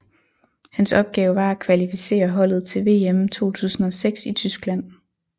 Hans opgave var at kvalificere holdet til VM 2006 i Tyskland